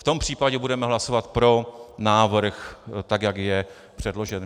V tom případě budeme hlasovat pro návrh, tak jak je předložen.